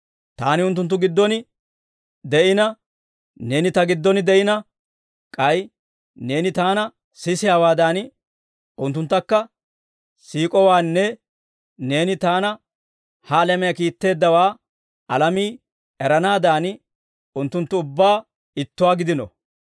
Taani unttunttu giddon de'ina, Neeni Ta giddon de'ina, k'ay Neeni Taana siisiyaawaadan, unttunttakka siik'owaanne Neeni Taana ha alamiyaa kiitteeddawaa alamii eranaadan, unttunttu ubbaa ittuwaa gidino.